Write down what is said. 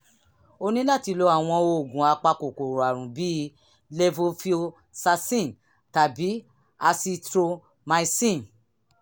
o ní láti lo àwọn oògùn apakòkòrò àrùn bíi levofloxacin tàbí azithromycin